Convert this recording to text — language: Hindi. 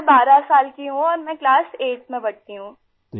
मैं 12 साल की हूँ औरमैं क्लास 8thमें पढ़ती हूँ आई